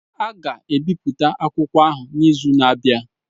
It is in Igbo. A ga-ebipụta akwụkwọ ahụ n'izu na-abịa.